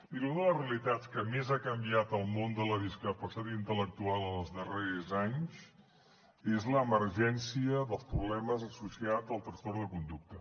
miri una de les realitats que més ha canviat el món de la discapacitat intel·lectual en els darrers anys és l’emergència dels problemes associats al trastorn de conducta